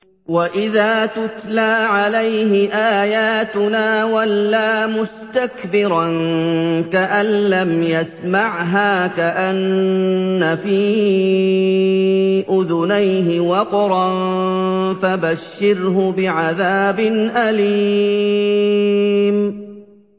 وَإِذَا تُتْلَىٰ عَلَيْهِ آيَاتُنَا وَلَّىٰ مُسْتَكْبِرًا كَأَن لَّمْ يَسْمَعْهَا كَأَنَّ فِي أُذُنَيْهِ وَقْرًا ۖ فَبَشِّرْهُ بِعَذَابٍ أَلِيمٍ